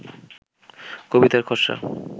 কবিতার খসড়া